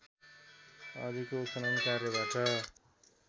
अघिको उत्खनन कार्यबाट